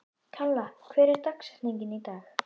Kalla, hver er dagsetningin í dag?